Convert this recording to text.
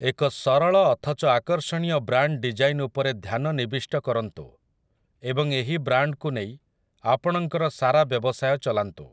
ଏକ ସରଳ ଅଥଚ ଆକର୍ଷଣୀୟ ବ୍ରାଣ୍ଡ ଡିଜାଇନ ଉପରେ ଧ୍ୟାନ ନିବିଷ୍ଟ କରନ୍ତୁ, ଏବଂ ଏହି ବ୍ରାଣ୍ଡକୁ ନେଇ ଆପଣଙ୍କର ସାରା ବ୍ୟବସାୟ ଚଲାନ୍ତୁ ।